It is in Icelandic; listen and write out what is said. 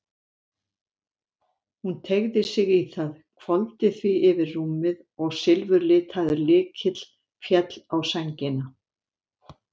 Hún teygði sig í það, hvolfdi því yfir rúmið og silfurlitaður lykill féll á sængina.